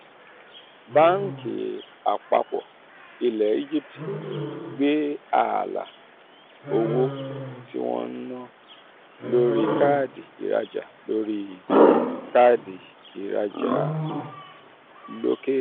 báńkì àpapọ̀ ilẹ̀ egypt gbé ààlà owó tí wọ́n ń ná lórí káàdì ìrajà lórí káàdì ìrajà l'ókèèrè